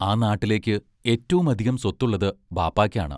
ആ നാട്ടിലേയ്ക്ക് ഏറ്റവും അധികം സ്വത്തുള്ളത് ബാപ്പായ്ക്കാണ്.